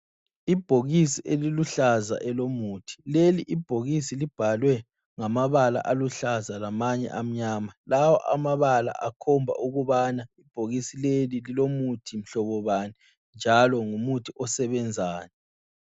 Ibhokisi eluluhlaza elomuthi. Leli ibhokisi libhalwe ngamabala aluhlaza lamanye amnyama. Lawa amabala akhomba ukubana ibhokisi leli lilomuthi mhlobobani njalo ngumuthi osebenzani.